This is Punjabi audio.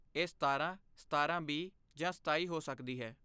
ਇਹ ਸਤਾਰਾਂ , ਸਤਾਰਾਂ ਬੀ ਜਾਂ ਸਤਾਈ ਹੋ ਸਕਦੀ ਹੈ